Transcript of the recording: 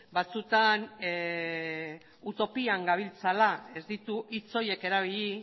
batzutan utopian gabiltzala ez ditu hitz horiek erabili